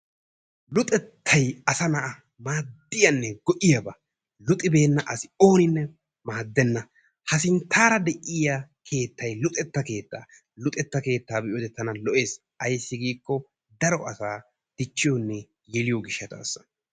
Luxxettay asa na'a maadiyaanne go"iyaaba luuxibeenna asi oonnine maadenna. ha sinttaara de'iyaa keettay luxxeta keettaa. luxetta keettaa be'iyoode tana lo"ees. aysi giiko daro yeliyoonne dichiyoo giishataasa.